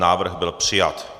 Návrh byl přijat.